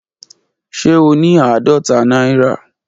Ṣe o ni aadọta naira?